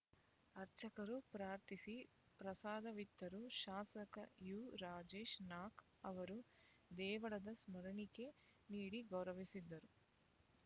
ಅರ್ಚಕರು ಪ್ರಾರ್ಥಿಸಿ ಪ್ರಸಾದವಿತ್ತರು ಶಾಸಕ ಯು ರಾಜೇಶ್ ನಾಕ್ ಅವರು ದೇವಳದ ಸ್ಮರಣಿಕೆ ನೀಡಿ ಗೌರವಿಸಿದರು